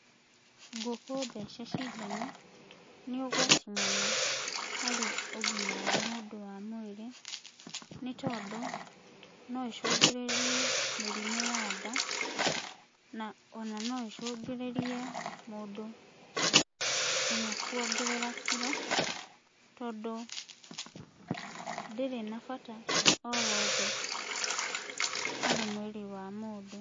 Ngũkũ thece cindano nĩ ũgwati mũno harĩ ũgima wa mũndũ wa mwĩrĩ, nĩ tondũ no ĩcũngĩrĩrie mĩrimũ ya nda, na ona no ĩcũngĩrĩrie mũndũ nginya kwongerera kiro, tondũ ndĩrĩ na bata o wothe harĩ mwĩrĩ wa mũndũ.